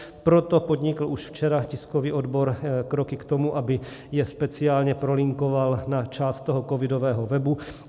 Proto podnikl už včera tiskový odbor kroky k tomu, aby je speciálně prolinkoval na část toho covidového webu.